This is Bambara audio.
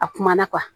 A kumana